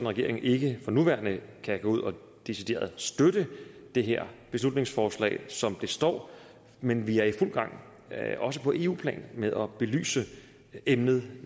regeringen ikke for nuværende kan gå ud og decideret støtte det her beslutningsforslag som det står men vi er i fuld gang også på eu plan med at belyse emnet